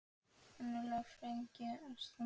Önnur lög fengju að standa.